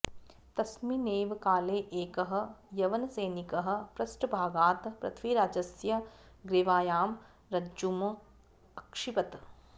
तस्मिन्नेव काले एकः यवनसैनिकः पृष्ठभागात् पृथ्वीराजस्य ग्रीवायां रज्जूम् अक्षिपत्